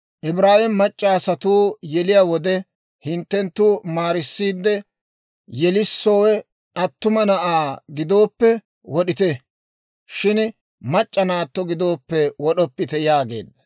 «Ibraawe mac'c'a asatuu yeliyaa wode hinttenttu maarissiide, yelissowe attuma na'aa gidooppe, wod'ite; shin mac'c'a naatto gidooppe wod'oppite» yaageedda.